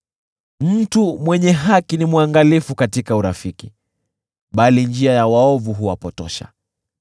Mtu mwenye haki ni mwangalifu katika urafiki, bali njia ya waovu huwapotosha.